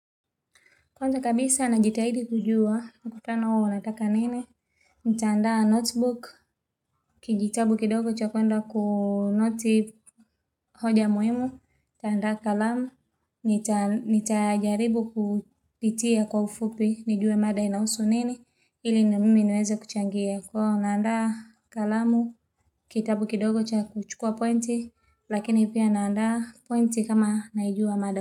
Kwanza kabisa najitahidi kujua, mkutano huu wanataka nini? Ntaanda notebook, kijitabu kidogo cha kuenda kunoti hoja muhimu, kuandaa kalamu, nitajaribu kupitia kwa ufupi, nijue mada inahusu nini, ili na mimi niweze kuchangia. Huwa naandaa kalamu, kitabu kidogo cha kuchukua pointi, lakini pia naandaa pointi kama naijua mada.